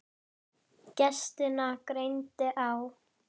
Gestina greindi á.